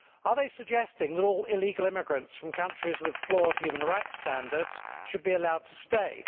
Are they suggesting that all illegal immigrants from countries with flawed human rights standards should be allowed to stay?